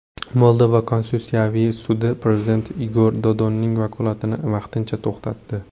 Moldova konstitutsiyaviy sudi prezident Igor Dodonning vakolatini vaqtincha to‘xtatdi.